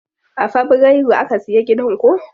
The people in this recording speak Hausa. A fabrairu aka siya gidan ko?